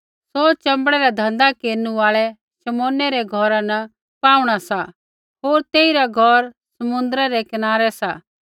सौ च़ंबड़ै रै धँधा केरनु आल़ै शमौनै रै घौरा न पाहुँणा सा होर तेइरा घौर समुद्रै रै कनारै सा